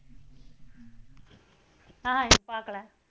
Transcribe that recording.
அஹ் பாக்கல